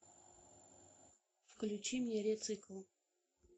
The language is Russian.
включи мне ре цикл